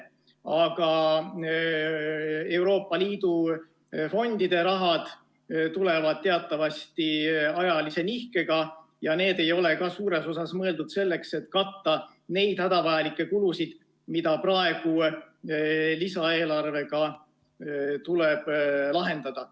Aga Euroopa Liidu fondide raha tuleb teatavasti ajalise nihkega ja see ei ole ka suures osas mõeldud selleks, et katta neid hädavajalikke kulusid, mida praegu lisaeelarvega tuleb lahendada.